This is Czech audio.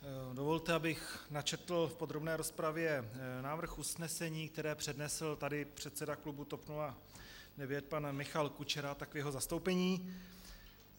Dovolte, abych načetl v podrobné rozpravě návrh usnesení, které přednesl tady předseda klubu TOP 09 pan Michal Kučera, tak v jeho zastoupení.